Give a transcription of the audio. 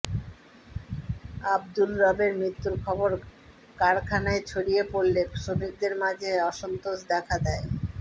আব্দুর রবের মৃত্যুর খবর কারখানায় ছড়িয়ে পড়লে শ্রমিকদের মাঝে অসন্তোষ দেখা দেয়